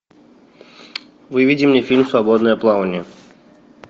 выведи мне фильм свободное плавание